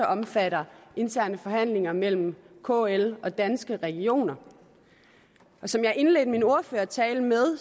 omfatter interne forhandlinger mellem kl og danske regioner og som jeg indledte min ordførertale med